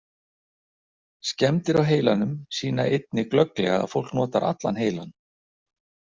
Skemmdir á heilanum sýna einnig glögglega að fólk notar allan heilann.